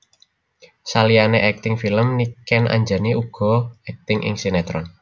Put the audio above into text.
Saliyané akting film Niken Anjani uga akting ing sinetron